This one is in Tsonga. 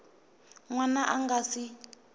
n wana a nga si